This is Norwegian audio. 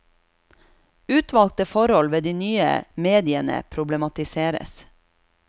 Utvalgte forhold ved de nye mediene problematiseres.